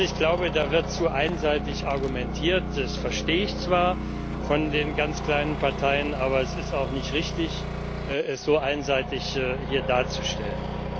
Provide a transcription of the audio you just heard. Also, ich glaube, da wird zu einseitig argumentiert. Das verstehe ich zwar von der Seite der ganz kleinen Parteien, aber es ist auch nicht richtig, es so einseitig hier darzustellen.